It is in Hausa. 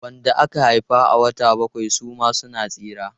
Wanda aka haifa a wata bakwai suma suna tsira.